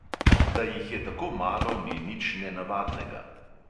Da jih je tako malo, ni nič nenavadnega.